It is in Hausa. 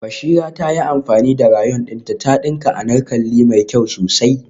Bashira ta yi amfani da rayon dinta ta dinka anarkali mai kyau sosai